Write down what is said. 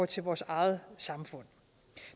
til vores eget samfund